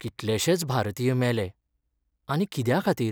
कितलेशेच भारतीय मेले. आनी कित्याखातीर?